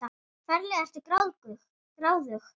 Ferlega ertu gráðug!